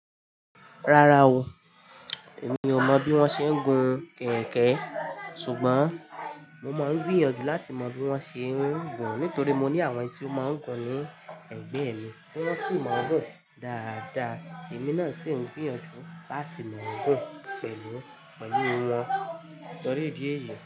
Rárá o, èmi ò mọ̀ bí wọ́n ṣe ń gun kẹ̀kẹ́. Ṣùgbọ́n mo máa ń gbìyànjú láti mọ bí wọ́n ṣe ń gun ùn nítorí mo ní àwọn tí ó máa ń gun ùn ní ẹ̀gbẹ́ mi tí wọ́n sì mọ́ gùn dáadáa. Èmi náà sì ń gbìyànjú láti mọ gùn pẹ̀lú wọn tórí idi eyí.